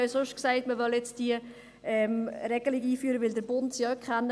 Man hat auch gesagt, man wolle diese Regelung einführen, weil der Bund sie auch kennt.